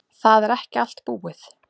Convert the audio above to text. Það er ekki allt búið.